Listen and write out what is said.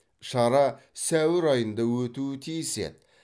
шара сәуір айында өтуі тиіс еді